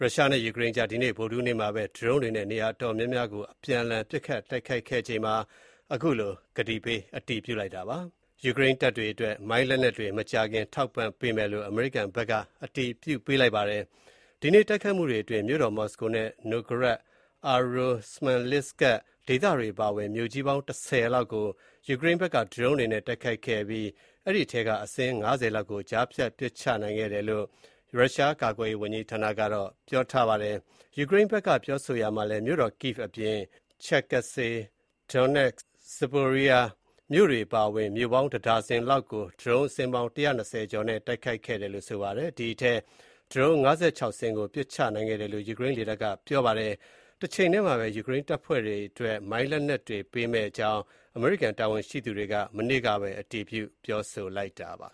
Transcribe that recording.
ရုရှားနဲ့ယူကရိန်းကြား ဒီကနေ့ ဗုဒ္ဓဟူးနေ့မှာပဲ ဒရုန်းတွေနဲ့နေရာအတော်များများကို အပြန်အလှန် ပစ်ခတ်တိုက်ခိုက်ခဲ့ကြပါတယ်။ တချိန်တည်းမှာပဲ ယူကရိန်းတပ်တွေအတွက် မိုင်းလက်နက်တွေ မကြာခင်ထောက်ပံ့မယ့်အကြောင်း အမေရိကန်က အတည်ပြုခဲ့တာပါ။ ဒီကနေ့ တိုက်ခိုက်မှုတွေအတွင်း မြို့တော် မော်စကိုနဲ့ နိုဂရတ် (Novgorad)၊ အာရိုး (Oryol) ၊ စမန်လစ်စကစ် (Smolensk) ဒေသတွေအပါအဝင် မြို့ကြီးပေါင်း ၁၀ မြို့လောက်ကို ယူကရိန်းဘက်က ဒရုန်းတွေနဲ့တိုက်ခိုက်ခဲ့ပြီး အဲဒိအထဲကအစင်း ၅၀ လောက်ကို ကြားဖြတ်ပစ်ချနိုင်ခဲ့ တယ်လို့ ရုရှားကာကွယ်ရေးဝန်ကြီးဌာနကပြောပါတယ်။ ယူကရိန်းဘက်ကပြောဆိုရာမှာလည်း မြို့တော် Kyiv အပြင် ချက်ကစေ (Cherkasy)၊ ဒုန်နက်စခ် (Donetsk) ၊ ဇပိုရီရီးရှား(Zaporizhzhia) မြို့တွေအပါအဝင် မြို့ပေါင်းတဒါဇင်ကျော်လောက်ကို ဒရုန်းအစင်းပေါင်း ၁၂၀ ကျော်နဲ့တိုက်ခိုက်ခဲ့တယ်လို့ဆိုပါတယ်။ အဲဒိအထဲက ဒရုန်း ၅၆ စင်းကို ပစ်ချနိုင်ခဲ့တယ်လို့ ယူကရိန်းလေတပ်ကပြောပါတယ်။ တချိန်တည်းမှာပဲ ယူကရိန်းတပ်ဖွဲ့တွေအတွက် မိုင်းလက်နက်တွေပေးမယ့်အကြောင်း အမေရိကန် တာဝန်ရှိသူတွေ မနေ့ကပဲ အတည်ပြု ပြောဆိုလိုက်ကြပါ